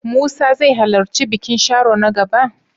Musa zai halarci bikin Sharo na gaba?